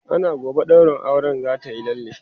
ana gobe ɗaurin auren zatayi lalle